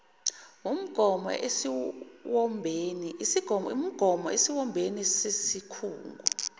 wumgomo esiwombeni sesikhungo